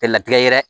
Tɛ latigɛ yɛrɛ